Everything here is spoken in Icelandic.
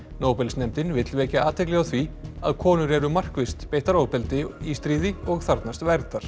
nóbelsnefndin vill vekja athygli á því að konur eru markvisst beittar ofbeldi í stríði og þarfnast verndar